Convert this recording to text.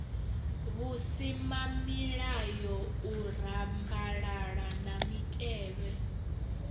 vhusimamilayo u rambalala na mitevhe